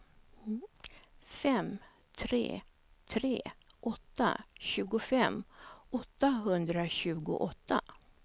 fem tre tre åtta sjuttiofem åttahundratjugoåtta